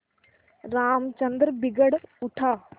रामचंद्र बिगड़ उठा